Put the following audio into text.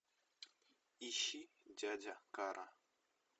ищи дядя кара